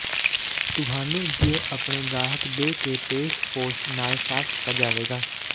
ਤੁਹਾਨੂੰ ਜ ਆਪਣੇ ਗਾਹਕ ਦੇ ਕੇ ਪੇਸ਼ ਪੋਸਟ ਨਾਲ ਸਾਫ਼ ਕੀਤਾ ਜਾਵੇਗਾ